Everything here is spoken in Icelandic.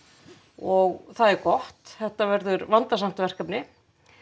og það er gott þetta verður vandasamt verkefni